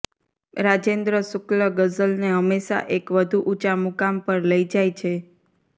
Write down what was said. રાજેન્દ્ર શુક્લ ગઝલને હંમેશા એક વધુ ઊંચા મુકામ પર લઈ જાય છે